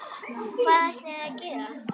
Hvað ætlið þið að gera?